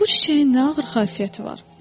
Bu çiçəyin nə ağır xasiyyəti var.